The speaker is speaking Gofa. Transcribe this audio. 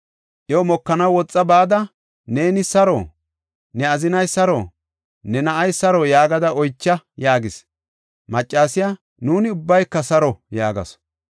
Iyo mokanaw woxa bada, ‘Neeni saro? Ne azinay saro? Ne na7ay saro?’ yaagada oycha” yaagis. Maccasiya, “Nuuni ubbayka saro” yaagasu.